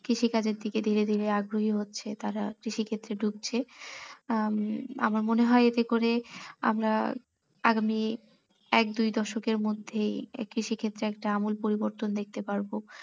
কৃষি কাজের দিকে ধীরে ধীরে আগ্রহি হচ্ছে তারা কৃষি ক্ষেত্রে ঢুকছে আহ আমার মনে হয় এতে করে আমরা আগামী এক দুই দশকের মধ্যেই এই কৃষিক্ষেত্রে একটা আমুল পরিবর্তন দেখতে পারবো।